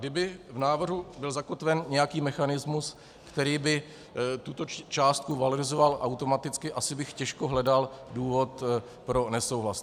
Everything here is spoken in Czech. Kdyby v návrhu byl zakotven nějaký mechanismus, který by tuto částku valorizoval automaticky, asi bych těžko hledal důvod pro nesouhlas.